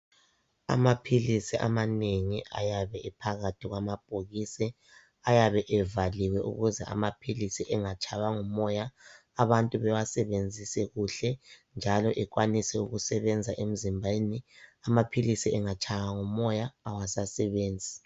amaphilisi amanengi ayabe ephakathi kwamabhokisi ayabe evaliwe ukuze amaphilisi engatshaywa ngumoya abantu bewasebenzise kuhle njalo ekwanise kusebenza emzimbeni amaphilisi angatshaywa ngumoya awasasebenzi